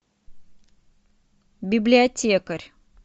библиотекарь